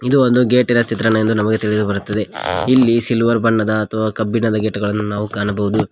ಇದು ಒಂದು ಗೇಟ್ ಇನ ಚಿತ್ರಣ ಎಂದು ನಮಗೆ ತಿಳಿದುಬರುತ್ತದೆ ಇಲ್ಲಿ ಸಿಲ್ವರ್ ಬಣ್ಣದ ಅಥವ ಕಬ್ಬಿಣದ ಗೇಟ್ ಗಳನ್ನು ನಾವು ಕಾಣಬಹುದು.